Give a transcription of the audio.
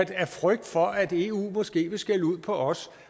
vi af frygt for at eu måske vil skælde ud på os